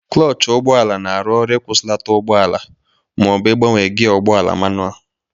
Klọch ụgbọala na-arụ ọrụ ịkwụsịlata ụgbọala ma ọ bụ ịbanwe gịa ụgbọala manụal